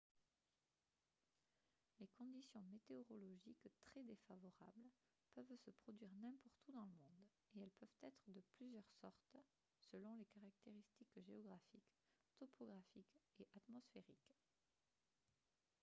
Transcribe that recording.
les conditions météorologiques très défavorables peuvent se produire n'importe où dans le monde et elles peuvent être de plusieurs sortes selon les caractéristiques géographiques topographiques et atmosphériques